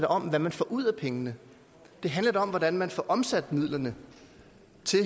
om hvad man får ud af pengene det handler da om hvordan man får omsat midlerne